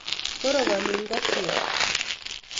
Korokoni ikokyet